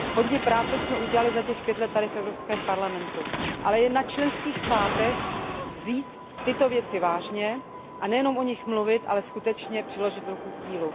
Hodně práce jsme udělali za těch pět let tady v Evropském parlamentu, ale je na členských státech vzít tyto věci vážně a nejenom o nich mluvit, ale skutečně přiložit ruku k dílu.